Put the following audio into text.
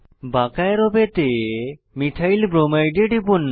বাঁকা অ্যারো পেতে methyl bromide এ টিপুন